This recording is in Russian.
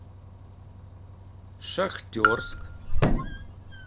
шахтерск